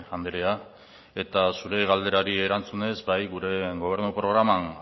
anderea zure galderari erantzunez bai gure gobernu programan